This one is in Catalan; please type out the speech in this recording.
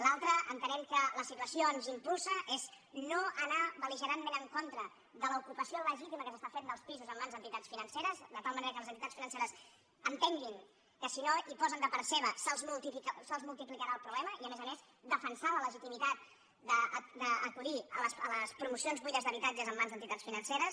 l’altra entenem que les situació ens hi impulsa és no anar bel·ligerantment en contra de l’ocupació legítima que s’està fent dels pisos en mans d’entitats financeres de tal manera que les entitats financeres entenguin que si no hi posen de part seva se’ls multiplicarà el problema i a més a més defensar la legitimitat d’acudir a les promocions buides d’habitatges en mans d’entitats financeres